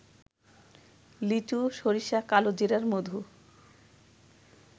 লিচু, সরিষা, কালোজিরার মধু